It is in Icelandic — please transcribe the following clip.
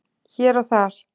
Hér og þar